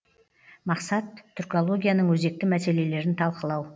мақсат түркологияның өзекті мәселелерін талқылау